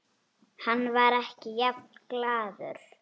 Hann var ekki jafn glaður.